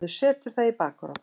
Maður setur það í bakarofn.